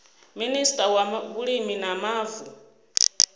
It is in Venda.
minista wa vhulimi na mavu